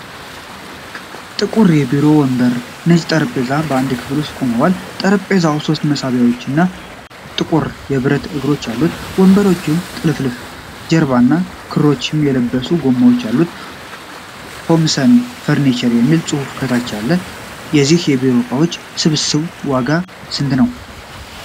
ጥቁር የቢሮ ወንበርና ነጭ ጠረጴዛ በአንድ ክፍል ውስጥ ቆመዋል። ጠረጴዛው ሶስት መሳቢያዎችና ጥቁር የብረት እግሮች አሉት። ወንበሩ ጥልፍልፍ ጀርባና ክሮም የተለበሱ ጎማዎች አሉት። 'ሆምሰን ፈርኒቸር' የሚል ጽሑፍ ከታች አለ። የዚህ የቢሮ እቃዎች ስብስብ ዋጋ ስንት ነው?